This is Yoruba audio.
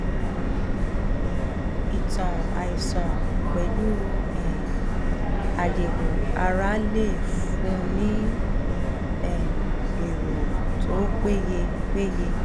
ìtàn àìsàn pẹlú um àyẹwò ara lè fúnni ní um èrò tó peye um peye um